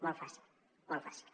molt fàcil molt fàcil